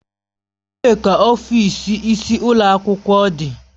Ebee ka ọfịs onye isi ụlọ akwụkwọ dị?